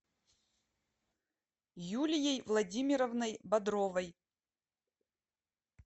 юлией владимировной бодровой